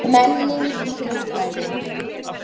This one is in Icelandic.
MENNING OG KYNJAFRÆÐI